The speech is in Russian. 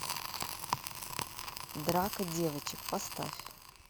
драка девочек поставь